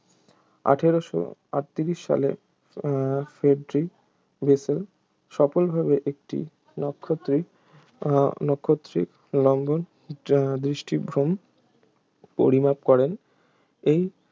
আঠেরোশো আটত্রিশ সালে উহ ফ্রেডরিখ বেসেল সফলভাবে একটি নাক্ষত্রিক উহ নাক্ষত্রিক লম্বন দৃষ্টিভ্রম পরিমাপ করেন এই